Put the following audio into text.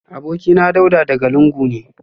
Abokina Dauda daga lungu ne